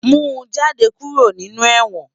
Mú jàdé kúró ninú èwòn